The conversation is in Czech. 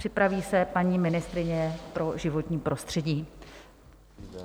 Připraví se paní ministryně pro životní prostředí.